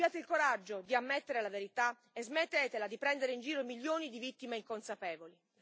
Abbiate il coraggio di ammettere la verità e smettetela di prendere in giro milioni di vittime inconsapevoli.